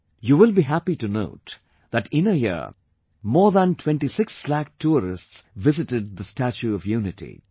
You will be happy to note that in a year, more than 26 lakh tourists visited the 'Statue of Unity'